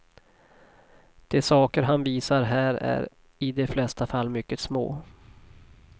De saker han visar här är i de flesta fall mycket små.